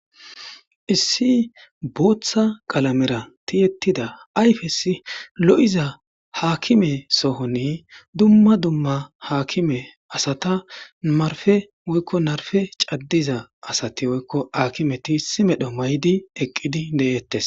Issi bootha qalamera tiyetida ayfes lo'iza gakime sohon dumma dumma asati narpe woyko narpe cadyza asati woykon hakimeti eqid de'etes